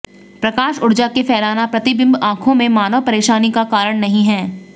प्रकाश ऊर्जा के फैलाना प्रतिबिंब आँखों में मानव परेशानी का कारण नहीं है